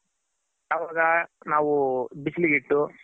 ಅವಾಗ ನಾವು ಬಿಸಿಲ್ ಗಿಟ್ಟು